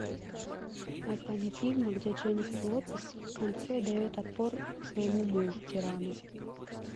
название фильма где дженнифер лопес в конце дает отпор своему мужу тирану